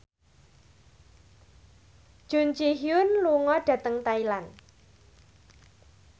Jun Ji Hyun lunga dhateng Thailand